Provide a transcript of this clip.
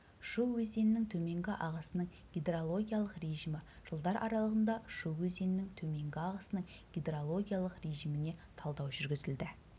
шу өзенінің төменгі ағысының гидрологиялық режимі жылдар аралығында шу өзенінің төменгі ағысының гидрологиялық режиміне талдау жүргізілді